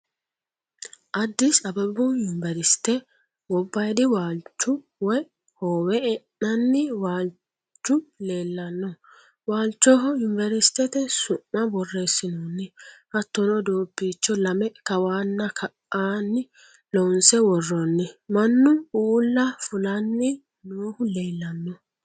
Addisi ababu yunverisite gobbaadi waalchu woyi hoowe e'nanni waalchu leellanno. Waalchoho yuniverisitete su'ma borreessinoonni. Hattono doobbiicho lame kawanna ka"anni loonse worroonni. Mannu uulla fulanni noohu leellanno.